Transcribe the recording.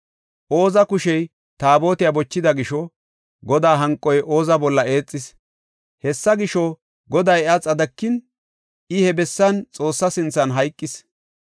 Ooza kushey Taabotiya bochida gisho, Godaa hanqoy Oza bolla eexis. Hessa gisho, Goday iya xadikin, I he bessan Xoossa sinthan hayqis.